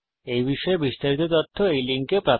এই বিষয়ে বিস্তারিত তথ্য এই লিঙ্কে প্রাপ্তিসাধ্য